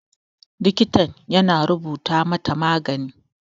Likitan ya na rubuta mata magani.